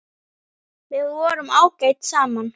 Við vorum ágæt saman.